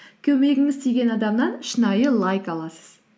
көмегіңіз тиген адамнан шынайы лайк аласыз